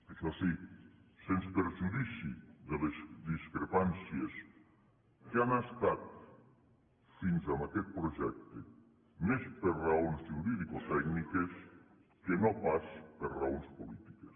això sí sens perjudici de les discrepàncies que han estat fins a aquest projecte més per raons juridicotècniques que no pas per raons polítiques